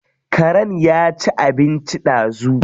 Karen ya ci abinci ɗazu.